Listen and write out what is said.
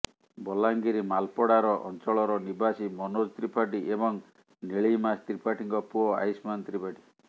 ବଲାଙ୍ଗୀର ମାଲପଡ଼ାର ଅଞ୍ଚଳର ନିବାସୀ ମନୋଜ ତ୍ରିପାଠୀ ଏବଂ ନିଳିମା ତ୍ରିପାଠୀଙ୍କ ପୁଅ ଆୟୁଷ୍ମାନ ତ୍ରିପାଠୀ